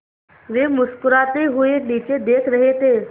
वे मुस्कराते हुए नीचे देख रहे थे